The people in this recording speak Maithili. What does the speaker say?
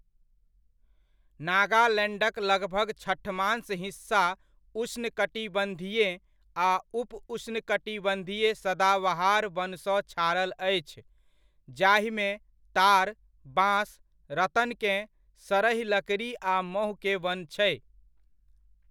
नागालैंडक लगभग छठमान्श हिस्सा उष्णकटिबंधीय आ उप उष्णकटिबंधीय सदाबहार वनसँ छारल अछि जाहिमे ताड़, बाँस, रतनकेँ सड़हि लकड़ी आ महुकेँ वन छै।